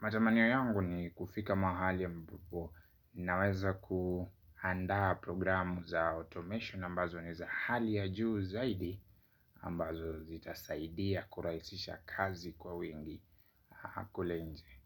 Matamanio yangu nikufika mahali ambapo naweza kuandaa programu za automation ambazo ni za hali ya juu zaidi ambazo zita saidia kurahisisha kazi kwa wingi kule nje.